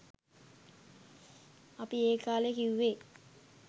අපි ඒ කාලෙ කිව්වෙ